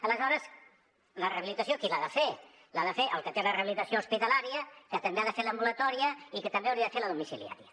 aleshores la rehabilitació qui l’ha de fer l’ha de fer el que té la rehabilitació hospitalària que també ha de fer l’ambulatòria i que també hauria de fer la domiciliària